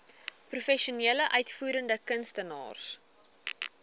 professionele uitvoerende kunstenaars